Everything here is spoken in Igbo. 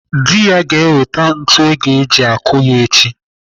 Dị ya ga-ewete ntu eji akụ ya echi.